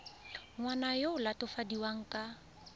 ngwana yo o latofadiwang ka